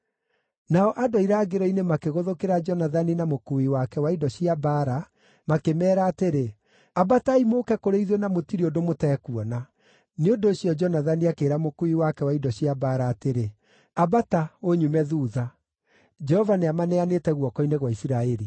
Nao andũ a irangĩro-inĩ makĩgũthũkĩra Jonathani na mũkuui wake wa indo cia mbaara makĩmeera atĩrĩ, “Ambatai mũũke kũrĩ ithuĩ na mũtirĩ ũndũ mũtekuona.” Nĩ ũndũ ũcio Jonathani akĩĩra mũkuui wake wa indo cia mbaara atĩrĩ, “Ambata, ũnyume thuutha; Jehova nĩamaneanĩte guoko-inĩ gwa Isiraeli.”